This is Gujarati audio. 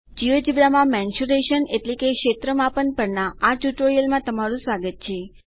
જિયોજેબ્રા માં મેન્સ્યુરેશન એટલે કે ક્ષેત્રમાપન પરના આ ટ્યુટોરીયલમાં તમારું સ્વાગત છે